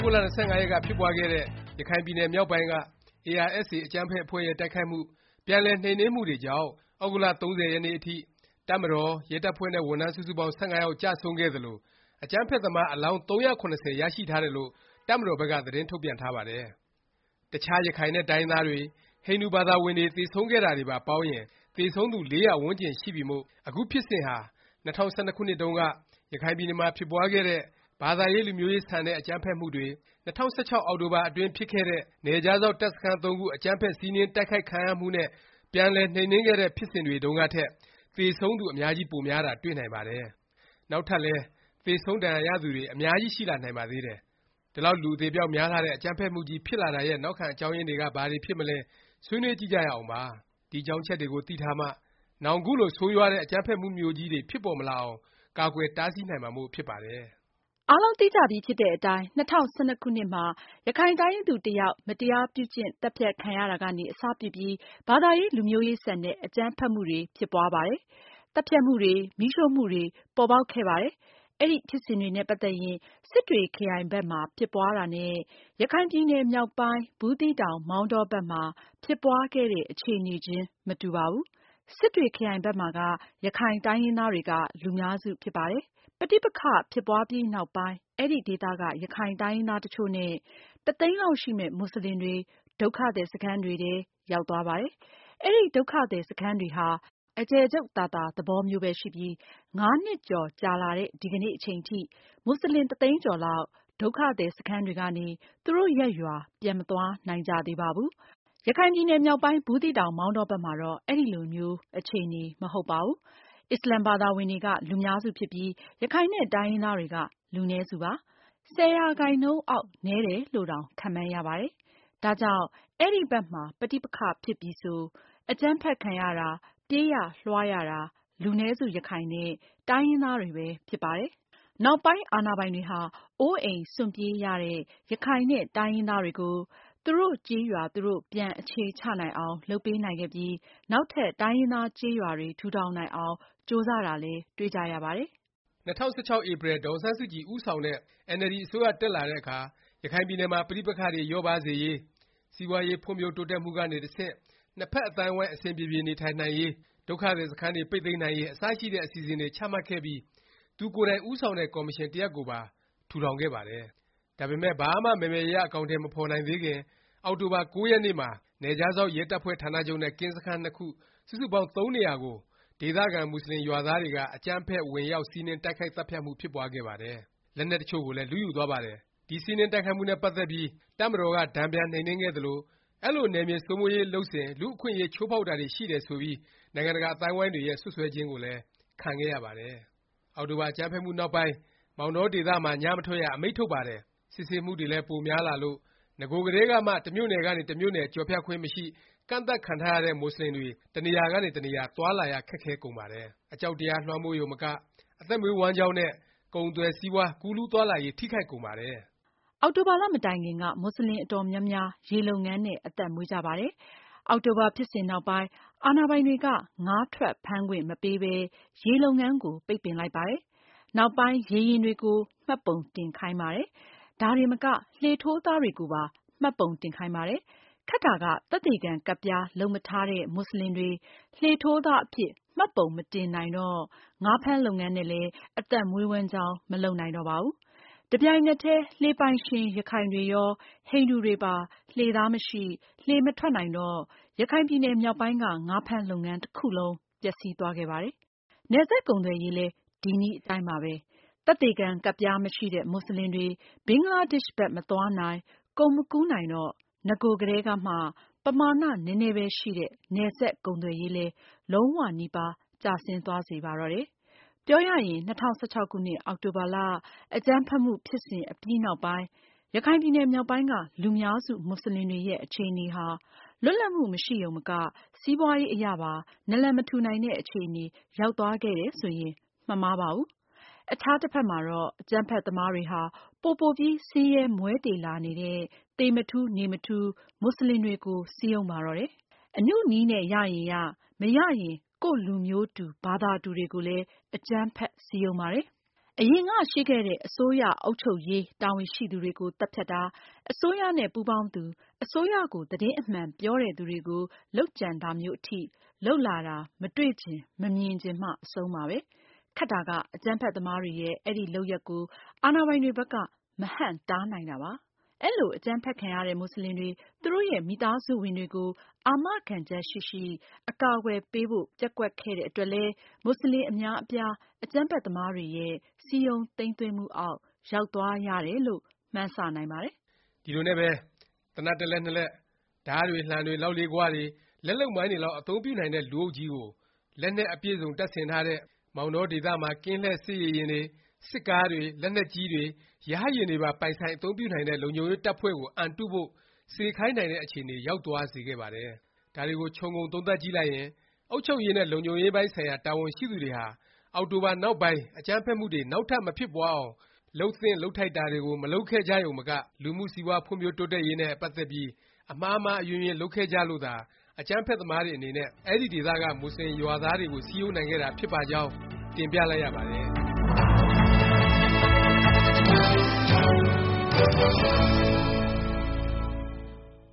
ဂုတ်လ ၂၅ ရက်က ဖြစ်ပွားခဲ့တဲ့ ရခိုင်ပြည်နယ် မြောက်ပိုင်းက ARSA အကြမ်းဖက် အဖွဲ့ရဲ့ တိုက်ခိုက်မှု၊ ပြန်လည် နှိမ်နင်းမှုတွေကြောင့် သြဂုတ်လ ၃၀ ရက်နေ့အထိ တပ်မတော်၊ ရဲတပ်ဖွဲ့နဲ့ ဝန်ထမ်း စုစုပေါင်း ၁၅ ယောက် ကျဆုံးခဲ့သလို အကြမ်းဖက်သမား အလောင်း ၃၇၀ ရရှိထားတယ်လို့ တပ်မတော်ဘက်က သတင်းထုတ်ပြန်ထားပါတယ်။ တခြား ရခိုင်နဲ့ တိုင်းရင်းသားတွေ၊ ဟိန္ဒူဘာသာဝင်တွေ သေဆုံးခဲ့တာတွေပါ ပေါင်းရင် သေဆုံးသူ ၄၀၀ ဝန်းကျင်ရှိပြီမို့ အခု ဖြစ်စဉ်ဟာ ၂၀၁၂ ခုနှစ်တုန်းက ရခိုင်ပြည်နယ်မှာ ဖြစ်ပွားခဲ့တဲ့ ဘာသာရေး လူမျိုးရေးဆန်တဲ့ အကြမ်းဖက်မှုတွေ၊ ၂၀၁၆ အောက်တိုဘာ အတွင်း ဖြစ်ခဲ့တဲ့ နယ်ခြားစောင့် တပ်စခန်းသုံးခု အကြမ်းဖက် စီးနင်း တိုက်ခိုက်ခံရမှုနဲ့ ပြန်လည် နှိမ်နင်းခဲ့တဲ့ ဖြစ်စဉ်တွေ တုန်းကထက် သေဆုံးသူ အများကြီး ပိုများတာ တွေ့နိုင်ပါတယ်။ နောက်ထပ်လည်း သေဆုံး၊ ဒါဏ်ရာရသူတွေ အများကြီး ရှိလာနိုင်ပါသေးတယ်။ ဒီလောက် လူအသေအပျောက် များလှတဲ့ အကြမ်းဖက်မှုကြီး ဖြစ်လာတာရဲ့ နောက်ခံ အကြောင်းရင်းတွေက ဘာတွေဖြစ်မလဲ ဆွေးနွေးကြည့်ကြရအောင်ပါ။ ဒီအကြောင်းအချက်တွေကို သိထားမှ နောင် ခုလို ဆိုးရွားတဲ့ အကြမ်းဖက်မှုကြီးမျိုးတွေ ဖြစ်ပေါ်မလာအောင် ကာကွယ် တားဆီးနိုင်မှာမို့ ဖြစ်ပါတယ်။ အားလုံးသိကြပြီဖြစ်တဲ့အတိုင်း ၂၀၁၂ ခုနှစ်မှာ ရခိုင်တိုင်းရင်းသူ တစ်ယောက် မတရားပြုကျင့် သတ်ဖြတ်ခံရတာကနေ အစပြုပြီး ဘာသာရေး လူမျိုးရေးဆန်တဲ့ အကြမ်းဖက်မှုတွေ ဖြစ်ပွားပါတယ်။ သတ်ဖြတ်မှုတွေ မီးရှို့မှုတွေ ပေါ်ပေါက်ခဲ့ပါတယ်။ အဲဒီဖြစ်စဉ်တွေနဲ့ ပတ်သက်ရင် စစ်တွေခရိုင်ဘက်မှာ ဖြစ်ပွားတာနဲ့ ရခိုင်ပြည်နယ် မြောက်ပိုင်း ဘူးသီးတောင်၊ မောင်တော ဘက်မှာ ဖြစ်ပွားခဲ့တဲ့ အခြေအနေခြင်း မတူပါဘူး။ စစ်တွေခရိုင်ဘက်မှာက ရခိုင်တိုင်းရင်းသားတွေက လူများစု ဖြစ်ပါတယ်။ ပဋိပက္ခ ဖြစ်စဉ် ဖြစ်ပွားပြီးနောက်ပိုင်း အဲဒီဒေသက ရခိုင်တိုင်းရင်းသား တစ်ချို့နဲ့ တစ်သိန်းလောက်ရှိမယ့် မူဆလင်တွေ ဒုက္ခသည် စခန်းတွေထဲ ရောက်သွားပါတယ်။ အဲဒီ ဒုက္ခသည် စခန်းတွေဟာ အကျယ်ချုပ်သာသာ သဘောမျိုးပဲ ရှိပြီး ၅ နှစ်ကျော် ကြာလာတဲ့ ဒီကနေ့ အချိန်ထိ မူဆလင် တစ်သိန်းကျော်လောက် ဒုက္ခသည် စခန်းတွေကနေ သူတို့ ရပ်ရွာ ပြန်မသွားနိုင်ကြသေးပါဘူး။ ရခိုင်ပြည်နယ်မြောက်ပိုင်း ဘူးသီးတောင် မောင်တောဘက်မှာတော့ အဲလို အခြေအနေမျိုး မဟုတ်ပါဘူး။ အစ္စလာမ် ဘာသာဝင်တွေက လူများစု ဖြစ်ပြီး ရခိုင်နဲ့ တိုင်းရင်းသားတွေက လူနည်းစုပါ။ ၁၀ ရာခိုင်နှုန်းအောက် နည်းတယ်လို့တောင် ခန့်မှန်းရပါတယ်။ ဒါကြောင့် အဲဒီဘက်မှာ ပဋိပက္ခ ဖြစ်ပြီဆို အကြမ်းဖက် ခံရတာ၊ ပြေးရလွှားရတာ လူနည်းစု ရခိုင်နဲ့ တိုင်းရင်းသားတွေပဲ ဖြစ်ပါတယ်။ နောက်ပိုင်း အာဏာပိုင်တွေဟာ အိုးအိမ်စွန့်ပြေးရတဲ့ ရခိုင်နဲ့ တိုင်းရင်းသားတွေကို သူတို့ကျေးရွာ သူတို့ ပြန်အခြေချနိုင်အောင် လုပ်ပေးနိုင်ခဲ့ပြီး နောက်ထပ် တိုင်းရင်းသားကျေးရွာတွေ ထူထောင်နိုင်အောင် ကြိုးစားတာလည်း တွေ့ကြရပါတယ်။ ၂၀၁၆ ဧပြီ ဒေါ်အောင်ဆန်းစုကြည် ဦးဆောင်တဲ့ NLD အစိုးရတက်လာတဲ့အခါ ရခိုင်ပြည်နယ်မှာ ပဋိပက္ခတွေ လျော့ပါးစေရေး၊ စီးပွားရေး ဖွံ့ဖြိုးတိုးတက်မှုကနေ တဆင့် နှစ်ဖက် အသိုင်းအဝိုင်း အဆင်ပြေပြေ နေထိုင်နိုင်ရေး၊ ဒုက္ခသည် စခန်းတွေ ပိတ်သိမ်းနိုင်ရေး အစရှိတဲ့ အစီအစဉ်တွေ ချမှတ်ခဲ့ပြီး သူကိုယ်တိုင် ဦးဆောင်တဲ့ ကော်မရှင် တစ်ရပ်ကိုပါ ထူထောင် ခဲ့ပါတယ်။ ဒါပေမယ့် ဘာမှ မယ်မယ်ရရ အကောင်အထည် မဖော်နိုင်သေးခင် အောက်တိုဘာ ၉ ရက်နေ့မှာ နယ်ခြားစောင့် ရဲတပ်ဖွဲ့ဌာနချုပ်နဲ့ ကင်းစခန်း ၂ ခု စုစုပေါင်း သုံးနေရာကို ဒေသခံ မူဆလင် ရွာသားတွေက အကြမ်းဖက် ဝင်ရောက် စီးနင်း တိုက်ခိုက် သတ်ဖြတ်မှု ဖြစ်ပွားခဲ့ပါတယ်။ လက်နက်တချို့ကိုလည်း လုယူသွားပါတယ်။ ဒီ စီးနင်း တိုက်ခိုက်မှုနဲ့ ပတ်သက်ပြီး တပ်မတော်က တန်ပြန် နှိမ်နင်းခဲ့သလို အဲလို နယ်မြေ စိုးမိုးရေး လုပ်စဉ် လူ့အခွင့်အရေး ချိုးဖေါက်တာတွေ ရှိတယ် ဆိုပြီး နိုင်ငံတကာ အသိုင်းအဝိုင်းရဲ့ စွတ်စွဲခြင်းကိုလည်း ခံခဲ့ရပါတယ်။ အောက်တိုဘာ အကြမ်းဖက်မှု နောက်ပိုင်း မောင်တော ဒေသမှာ ည မထွက်ရ အမိန့်ထုတ်ပါတယ်။ စစ်ဆေးမှုတွေလည်း ပိုများလာလို့ နဂိုကတည်းကမှ တမြို့နယ်ကနေ တမြို့နယ် ကျော်ဖြတ်ခွင့် မရှိ၊ ကန့်သတ်ခံထားရတဲ့ မူဆလင်တွေ တနေရာကနေ တနေရာ သွားလာရ ခက်ခဲကုန်ပါတယ်။ အကြောက်တရား လွှမ်းမိုးရုံမက အသက်မွေးဝမ်းကျောင်း နဲ့ ကုန်သွယ်စီးပွား ကူးလူးသွားလာရေး ထိခိုက်ကုန်ပါတယ်။ အောက်တိုဘာလ မတိုင်ခင်က မူဆလင် အတော်များများ ရေလုပ်ငန်းနဲ့ အသက်မွေးကြပါတယ်။ အောက်တိုဘာ ဖြစ်စဉ်နောက်ပိုင်း အာဏာပိုင်တွေက ငါးထွက်ဖမ်းခွင့် မပေးပဲ ရေလုပ်ငန်းကို ပိတ်ပင်လိုက်ပါတယ်။ နောက်ပိုင်း ရေယာဉ်တွေကို မှတ်ပုံတင်ခိုင်းပါတယ်။ ဒါတင်မက လှေထိုးသားတွေကိုပါ မှတ်ပုံတင်ခိုင်းပါတယ်။ ခက်တာက သက်သေခံ ကတ်ပြား လုပ်မထားတဲ့ မူဆလင်တွေ လှေထိုးသားအဖြစ် မှတ်ပုံမတင်နိုင်တော့ ငါးဖမ်းလုပ်ငန်းနဲ့လည်း အသက်မွေးဝမ်းကျောင်း မလုပ်နိုင်တော့ပါဘူး။ တပြိုင်နက်တည်း လှေပိုင်ရှင် ရခိုင်တွေရော၊ ဟိန္ဒူတွေပါ လှေသားမရှိ လှေမထွက်နိုင်တော့ ရခိုင်ပြည်နယ် မြောက်ပိုင်းက ငါးဖမ်းလုပ်ငန်း တစ်ခုလုံး ပျက်စီးသွားခဲ့ပါတယ်။ နယ်စပ် ကုန်သွယ်ရေးလည်း ဒီနည်းအတိုင်းပါပဲ။ သက်သေခံ ကတ်ပြားမရှိတဲ့ မူဆလင်တွေ ဘင်္ဂလားဒေ့ရှ်ဘက် မသွားနိုင်၊ ကုန်မကူးနိုင်တော့ နဂိုကတည်းကမှ ပမာဏ နည်းနည်းပဲ ရှိတဲ့ နယ်စပ် ကုန်သွယ်ရေးလည်း လုံး၀ နီးပါး ကျဆင်းသွားစေပါတော့တယ်။ ပြောရရင် ၂၀၁၆ အောက်တိုဘာ အကြမ်းဖက်မှု ဖြစ်စဉ်အပြီးနောက်ပိုင်း ရခိုင်ပြည်နယ်မြောက်ပိုင်းက လူများစု မူဆလင်တွေရဲ့ အခြေအနေဟာ လွတ်လပ်မှု မရှိရုံမက စီးပွားရေးအရပါ နလံမထူနိုင်တဲ့ အခြေအနေ ရောက်သွားခဲ့တယ်ဆိုရင် မမှားပါဘူး။ အခြားတဖက်မှာတော့ အကြမ်းဖက်သမားတွေဟာ ပိုပိုပြီး ဆင်းရဲမွဲတေလာနေတဲ့ သေမထူး နေမထူး မူဆလင်တွေကို စည်းရုံးပါတော့တယ်။ အနုနည်းနဲ့ ရရင်ရ မရရင် ကိုယ့်လူမျိုးတူ ဘာသာတူတွေကိုလည်း အကြမ်းဖက် စည်းရုံးပါတယ်။ အရင်က ရှိခဲ့တဲ့ အစိုးရ အုပ်ချုပ်ရေး တာဝန်ရှိသူတွေကို သတ်ဖြတ်တာ၊ အစိုးရနဲ့ ပူးပေါင်းသူ၊ အစိုးရကို သတင်းအမှန် ပြောတဲ့သူတွေကို လုပ်ကြံတာမျိုး အထိ လုပ်လာတာ မတွေ့ချင် မမြင်ချင်မှ အဆုံးပါပဲ။ ခက်တာက အကြမ်းဖက်သမားတွေရဲ့ အဲဒီ လုပ်ရပ်ကို အာဏာပိုင်တွေဘက်က မဟန့်တားနိုင်တာပါ။ အဲလို အကြမ်းဖက်ခံရတဲ့ မူဆလင်တွေ၊ သူတို့ရဲ့ မိသားစုဝင်တွေကို အာမခံချက်ရှိရှိ အကာအကွယ်ပေးဖို့ ပျက်ကွက်ခဲ့တဲ့အတွက်လည်း မူဆလင် အများအပြား အကြမ်းဖက်သမားတွေရဲ့ စည်းရုံးသိမ်းသွင်းမှုအောက် ရောက်သွားရတယ်လို့ မှန်းဆ နိုင်ပါတယ်။ ဒီလိုနဲ့ပဲ သေနတ် တစ်လက်နှစ်လက်၊ ဓားတွေ၊ လှံတွေ၊ လောက်လေးဂွတွေ၊ လက်လုပ်မိုင်းတွေလောက် အသုံးပြုနိုင်တဲ့ လူအုပ်ကြီးကို လက်နက်အပြည့်အစုံ တပ်ဆင်ထားတဲ့၊ မောင်တောဒေသမှာ ကင်းလှည့်စစ်ရေယာဉ်တွေ၊ စစ်ကားတွေ၊ လက်နက်ကြီးတွေ ရဟတ်ယာဉ်တွေပါ ပိုင်ဆိုင် အသုံးပြုနိုင်တဲ့ လုံခြုံရေး တပ်ဖွဲ့ကို အံတုဖို့ စေခိုင်းနိုင်တဲ့ အခြေအနေ ရောက်သွားစေခဲ့ပါတယ်။ ဒါတွေကို ခြုံငုံသုံးသပ်ကြည့်လိုက်ရင် အုပ်ချုပ်ရေးနဲ့ လုံခြုံရေးဆိုင်ရာ တာဝန်ရှိသူတွေဟာ အောက်တိုဘာ နောက်ပိုင်း အကြမ်းဖက်မှုတွေ နောက်ထပ် မဖြစ်ပွားအောင် လုပ်သင့်လုပ်ထိုက်တာတွေကို မလုပ်ခဲ့ကြရုံမက လူမှုစီးပွား ဖွံ့ဖြိုးတိုးတက်ရေးနဲ့ ပတ်သက်ပြီး အမှားမှားအယွင်းယွင်း လုပ်ခဲ့ကြလို့သာ အကြမ်းဖက်သမားတွေ အနေနဲ့ အဲဒီဒေသက မူဆလင်ရွာသားတွေကို စည်းရုံးနိုင်ခဲ့တာ ဖြစ်ပါကြောင်း တင်ပြလိုက်ရပါတယ်။